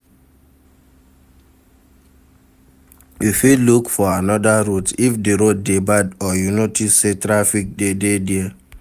You fit look for another route if di road de bad or you notice say trafic de dey there